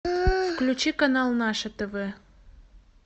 включи канал наше тв